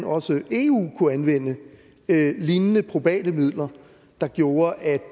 også eu kunne anvende lignende probate midler der gjorde at